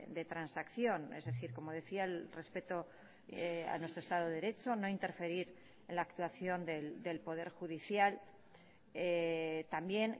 de transacción es decir como decía el respeto a nuestro estado de derecho no interferir en la actuación del poder judicial también